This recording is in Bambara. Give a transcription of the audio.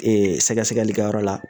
Ee sɛgɛsɛgɛlikɛyɔrɔ la